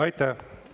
Aitäh!